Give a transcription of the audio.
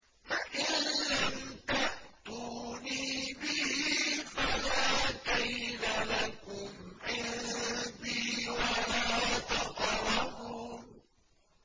فَإِن لَّمْ تَأْتُونِي بِهِ فَلَا كَيْلَ لَكُمْ عِندِي وَلَا تَقْرَبُونِ